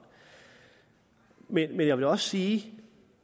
men jeg vil også sige